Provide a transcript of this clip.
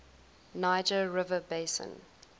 niger river basin